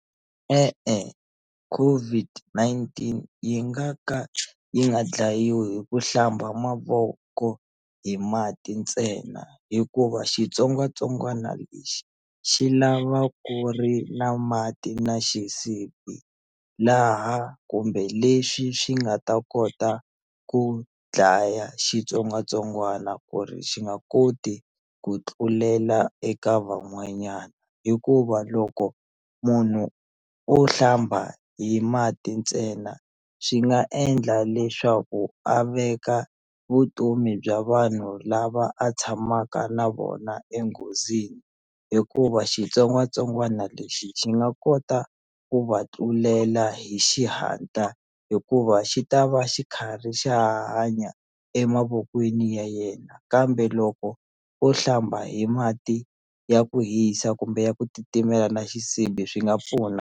E-e COVID-19 yi nga ka yi nga dlayiwi hi ku hlamba mavoko hi mati ntsena hikuva xitsongwatsongwana lexi xi lava ku ri na mati na xisibi laha kumbe lexi xi nga ta kota ku dlaya xitsongwatsongwana ku ri xi nga koti ku tlulela eka van'wanyana hikuva loko munhu o hlamba hi mati ntsena swi nga endla leswaku a veka vutomi bya vanhu lava a tshamaka na vona enghozini hikuva xitsongwatsongwana lexi xi nga kota ku va tlulela hi xihatla hikuva xi ta va xi karhi xa ha hanya emavokweni ya yena kambe loko o hlamba hi mati ya ku hisa kumbe ya ku titimela na xisibi swi nga pfuna.